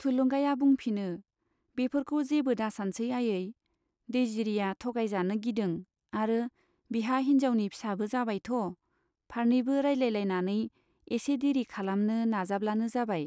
थुलुंगाया बुंफिनो, बेफोरखौ जेबो दासानसै आयै, दैजिरिया थगाय जानो गिदों आरो बिहा हिन्जाउनि फिसाबो जाबायथ'। फारनैबो रायज्लायलायनानै एसे देरि खालामनो नाजाब्लानो जाबाय